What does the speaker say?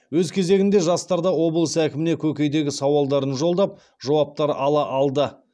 өз кезегінде жастар да облыс әкіміне көкейдегі сауалдарын жолдап жауаптар ала алды